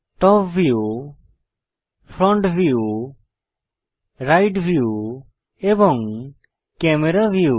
top view front view right view এবং camera view